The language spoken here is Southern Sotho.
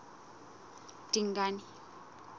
dingane